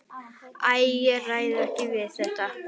Æ, ég réð ekki við þetta.